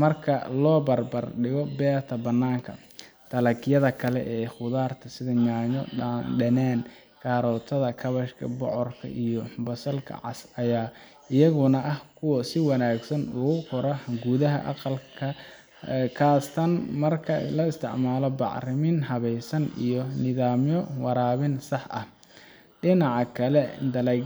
marka loo barbar dhigo beerta bannaanka dalagyada kale ee khudradda sida yaanyo dhanaan, karootada, kaabashka, bocorka iyo basalka cas ayaa iyaguna ah kuwo si wanaagsan ugu kora gudaha aqalka khaasatan marka la isticmaalo bacriminta habaysan iyo nidaamyo waraabin sax ah dhinaca kale dalagyada